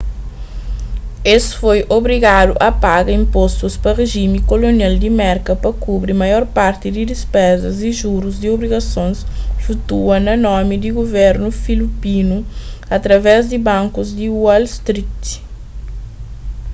es foi obrigadu a paga inpostus pa rijimi kolonial di merka pa kubri maior parti di dispezas y jurus di obrigasons flutua na nomi di guvernu filipinu através di bankus di wall street